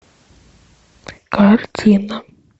картина